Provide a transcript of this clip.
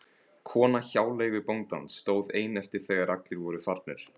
Kona hjáleigubóndans stóð ein eftir þegar allir voru farnir.